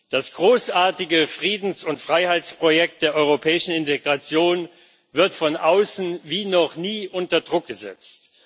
Das großartige Friedens und Freiheitsprojekt der europäischen Integration wird von außen wie noch nie unter Druck gesetzt.